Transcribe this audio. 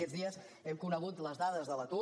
aquests dies hem conegut les dades de l’atur